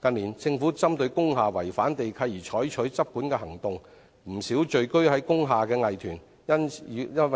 近年，政府針對工廈違反地契而採取執管行動，不少進駐工廈的藝團因其活